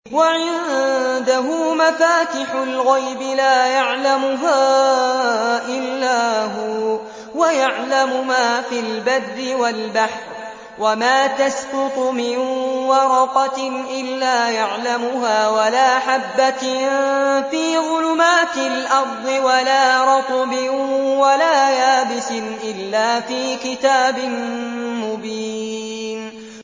۞ وَعِندَهُ مَفَاتِحُ الْغَيْبِ لَا يَعْلَمُهَا إِلَّا هُوَ ۚ وَيَعْلَمُ مَا فِي الْبَرِّ وَالْبَحْرِ ۚ وَمَا تَسْقُطُ مِن وَرَقَةٍ إِلَّا يَعْلَمُهَا وَلَا حَبَّةٍ فِي ظُلُمَاتِ الْأَرْضِ وَلَا رَطْبٍ وَلَا يَابِسٍ إِلَّا فِي كِتَابٍ مُّبِينٍ